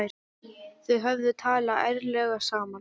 Þau hefðu talað ærlega saman.